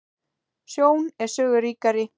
Sjón er sögu ríkari